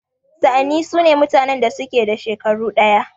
Sa'anni sune mutanen da suke da shekaru ɗaya.